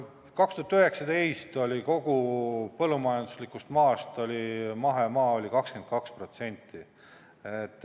Aastal 2019 oli Eestis kogu põllumajanduslikust maast mahemaa 22%.